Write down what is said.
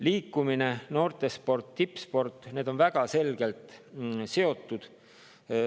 Liikumine, noortesport, tippsport – need on väga selgelt seotud.